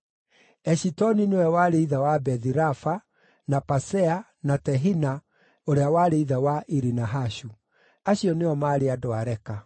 Eshitoni nĩwe warĩ ithe wa Bethi-Rafa, na Pasea, na Tehina ũrĩa warĩ ithe wa Iri-Nahashu. Acio nĩo maarĩ andũ a Reka.